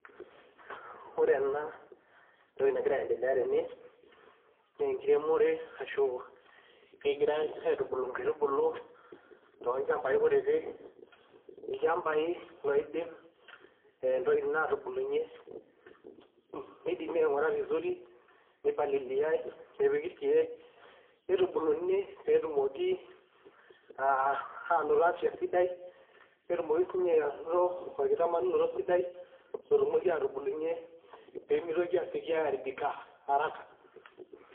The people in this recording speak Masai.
Ore ena entoki nagira aiendelea tene nee enkiremore arashu kegirai aitubulu nkaitubulu tolchambai kutitik, ilchambai loidim ntokitin atubulunye nidimi aing'ura vizuri, nipaliliai, nepiki irkeek, nitubuluni pee etumoki aa anoto afya sidai, netumoki siinye anoto orkitamanyunoto sidai lotumoki atubulunye pee mitoki aasioki airibika haraka.